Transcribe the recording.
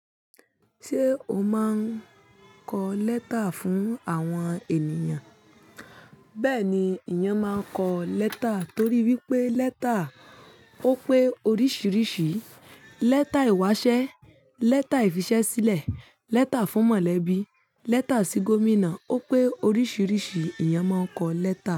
Ṣé o máa ń kọ lẹ́tà fún àwọn ènìyàn? Bẹ́ẹ̀ni, ìyán máa ń kọ lẹ́tà torí wípé lẹ́tà ó pé oríṣìíríṣìí. Lẹ́tà ìwásẹ́, lẹ́tà ìfisẹ́sílẹ̀, lẹ́tà fún mọ̀lẹ́bí, lẹ́tà sí Gómìnà ó pé oríṣìíríṣìí ìyán máa ń kọ lẹ́tà.